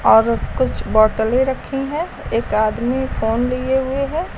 और कुछ बॉटले रखे हैं एक आदमी फोन लिए हुए हैं।